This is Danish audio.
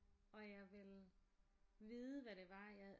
Og jeg ville vide hvad det var jeg